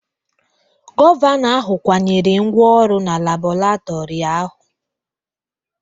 Gọvanọ ahụ kwanyere ngwa ọrụ na Labọretọri ahụ.